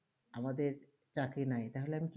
আমাদের চাকরি নাই